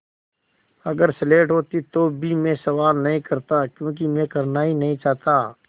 अगर स्लेट होती तो भी मैं सवाल नहीं करता क्योंकि मैं करना नहीं चाहता